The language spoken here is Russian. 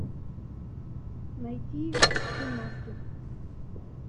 найти сын маски